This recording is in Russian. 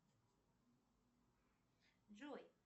джой